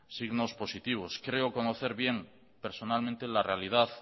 signos positivos creo conocer bien personalmente la realidad